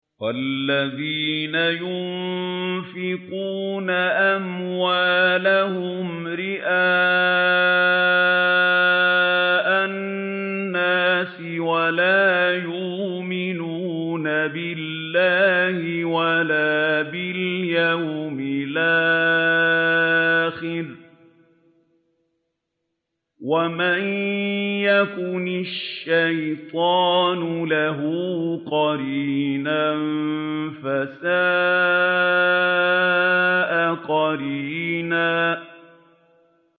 وَالَّذِينَ يُنفِقُونَ أَمْوَالَهُمْ رِئَاءَ النَّاسِ وَلَا يُؤْمِنُونَ بِاللَّهِ وَلَا بِالْيَوْمِ الْآخِرِ ۗ وَمَن يَكُنِ الشَّيْطَانُ لَهُ قَرِينًا فَسَاءَ قَرِينًا